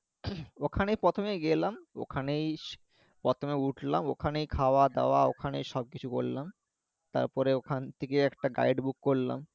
ওখানেই প্রথমে গেলাম ওখানেই প্রথমে উঠলাম ওখানেই খাওয়া দাওয়া ওখানেই সবকিছু করলাম তারপরে ওখান থেকে একটা guide, book করলাম